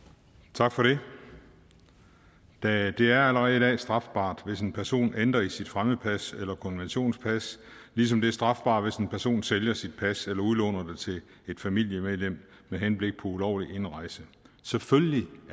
tak for det det er allerede i dag strafbart hvis en person ændrer i sit fremmedpas eller konventionspas ligesom det er strafbart hvis en person sælger sit pas eller udlåner det til et familiemedlem med henblik på ulovlig indrejse selvfølgelig